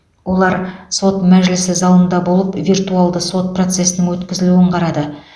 олар сот мәжілісі залында болып виртуалды сот процесінің өткізілуін қарады